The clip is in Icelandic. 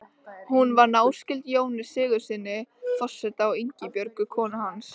Hún var náskyld Jóni Sigurðssyni forseta og Ingibjörgu konu hans.